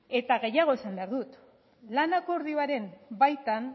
eta gehiago esan behar dut lan akordioaren baitan